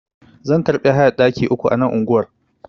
Zan karbi hayar ɗaki uku ana unguwar.